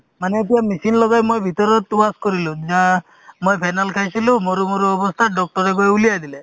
মানে এতিয়া machine লগাই মই ভিতৰত wash কৰিলো মই phenyl খাইছিলো মৰো মৰো অৱস্থাত doctor য়ে গৈ উলিয়াই দিলে